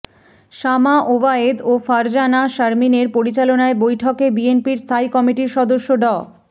শামা ওবায়েদ ও ফারজানা শারমিনের পরিচালনায় বৈঠকে বিএনপির স্থায়ী কমিটির সদস্য ড